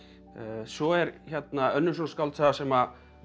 svo er hérna önnur skáldsaga sem